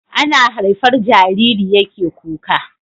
Ana haifar Jariri yake kuka